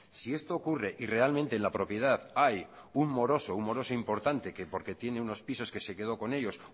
si esto ocurre y realmente en la propiedad hay un moroso un moroso importante que porque tiene unos pisos que se quedó con ellos